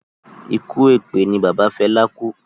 Ikú èpè ni bàbá Fela kú